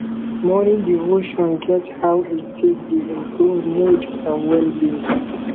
morning devotion get how e take dey improve mood and well being